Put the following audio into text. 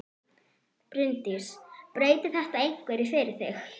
Bryndís: Breytir þetta einhverju fyrir þig?